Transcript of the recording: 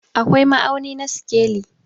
akwai ma'auni na sikeli